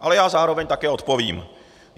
Ale já zároveň také odpovím.